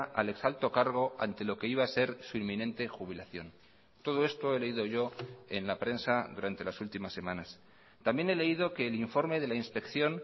al ex alto cargo ante lo que iba a ser su inminente jubilación todo esto he leído yo en la prensa durante las últimas semanas también he leído que el informe de la inspección